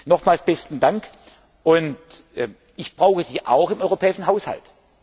ab. Nochmals besten Dank. Ich brauche Sie auch beim europäischen Haushalt.